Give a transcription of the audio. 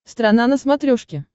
страна на смотрешке